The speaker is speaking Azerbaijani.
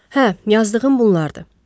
Hə, yazdığım bunlardır.